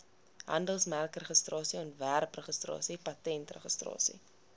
handelsmerkregistrasie ontwerpregistrasie patentregistrasie